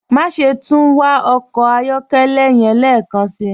Máṣẹ̀ tún wà ọkọ ayọ̀kẹlẹ́ yẹ̀n lẹ́kánsí.